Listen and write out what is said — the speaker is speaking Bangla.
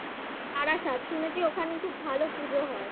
বারাসাত শুনেছি ওখানে খুব ভালো পুজো হয়